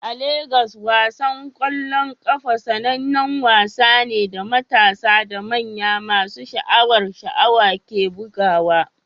A Legas, wasan ƙwallon ƙafa sanannen wasa ne da matasa da manya masu sha'awar sha'awa ke bugawa.